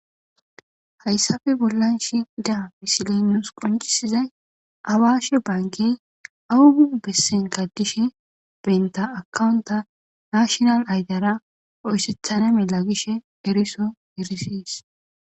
hayssafe bollan shi daa pisileynos qoncisizay awaashe banke awugu bessenkadishe benta akawunta mashinal aydara oyssethana mela gishe eriso erisis